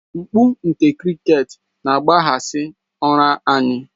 Mkpu nke cricket na-akpaghasị ụra anyị